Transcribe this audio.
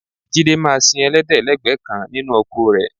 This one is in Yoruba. Jídé máa sin ẹlẹ́dẹ̀ lẹ́gbẹ̀ẹ́ kan nínú oko rẹ